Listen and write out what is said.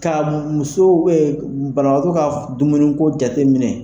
Ka musow banabaatɔ ka dumuni ko jate minɛ.